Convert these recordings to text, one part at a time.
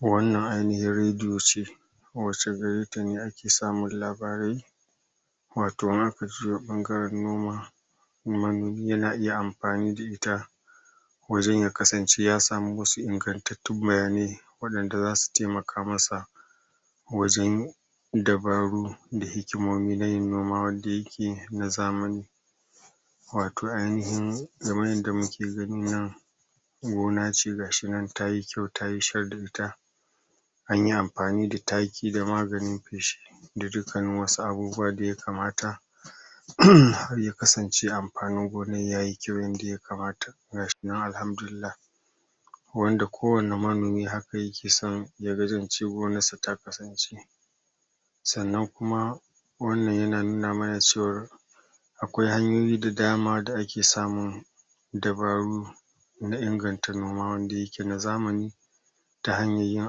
wannan ainihin radio ce wa ce gare ta ne ake samun labarai wato in aka juyo ɓangaren noma manomi yana iya amfani da ita wajen ya kasance ya samu wasu ingantattun bayanai waɗanda zasu temaka masa wajen dabaru da hikimomi na yin noma wanda yake na zamani wato ainihin kamar yanda muke gani nan gona ce ga shi nan tayi kyau tayi shar da ita anyi amfani da taki da maganin feshi da dukkanin wasu abubuwa da ya kamata ya kasance amfanin gonan yayi kyau yanda ya kamata ga shi nan alhamdulillah wanda kowane manomi haka yake son gonar sa ta kasance sannan kuma wannan yana nuna mana cewar akwai hanyoyi da dama da ake samun dabaru na inganta noma wanda yake na zamani ta hanyar yin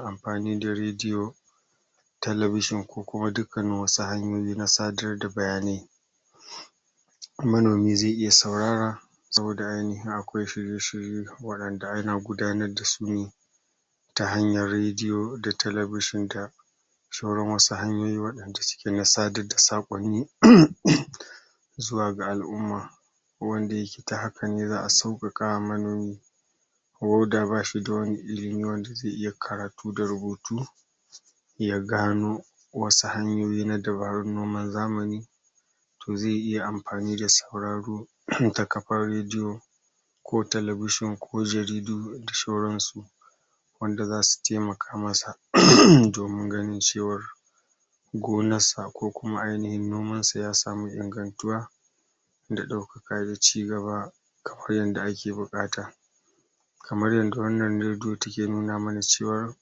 amfani da radio television ko kuma dukkanin wasu hanyoyi na sadar da bayanai manomi ze iya saurara saboda ainihin akwai shirye-shirye waɗanda ana gudanar da su ne ta hanyar radio da television da sauran wasu hanyoyi waɗanda suke na sadar da saƙonni zuwa ga al'umma wanda yake ta hakan ne za'a sauƙaƙawa manomi ko da ba shi da wani ilimi wanda ze iya karatu da rubutu ya gano wasu hanyoyi na dabarun noman zamani to ze iya amfani da sauraro ta kafar radio ko television ko jaridu da sauran su wanda zasu temaka masa domin ganin cewar gonar sa ko kuma ainihin noman sa ya samu ingantuwa da ɗaukaka da cigaba kamar yanda ake buƙata kamar yanda wannan radio take nuna mana cewa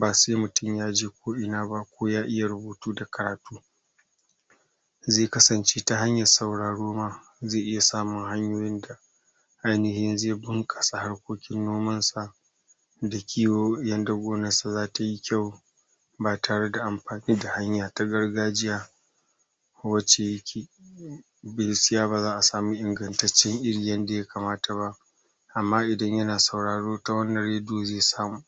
ba se mutum ya je ko'ina ba ko ya iya rubutu da karatu ze kasance ta hanyar sauraro ma ze iya samun hanyoyin da ainihi ze bunƙasa harkokin noman sa da kiwo yanda gonar sa zata yi kyau ba tare da amfani da hanya ta gargajiya wace yake gaskiya ba za'a samu ingantaccen iri yanda ya kamata ba amma idan yana sauraro ta wannan radio ze samu